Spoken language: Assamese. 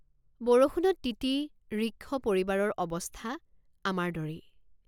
বৰষুণত তিতি ঋক্ষপৰিবাৰৰ অৱস্থা আমাৰ দৰেই।